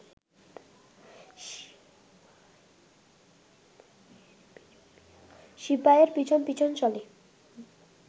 সিপাইএর পিছন পিছন চলে